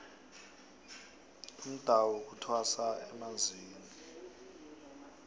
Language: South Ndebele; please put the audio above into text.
umdawu kuthwasa emanzini